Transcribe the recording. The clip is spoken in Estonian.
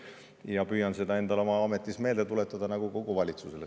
Ja püüan seda endale oma ametis meelde tuletada nagu kogu valitsusele.